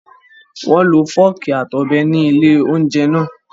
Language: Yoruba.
Wọ́n lo fọ́ọ̀kì àti ọ̀bẹ ní ilé-oúnjẹ náà.